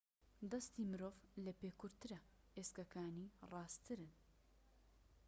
دەستی مرۆڤ لە پێ کورتترە ئێسکەکانی ڕاستترن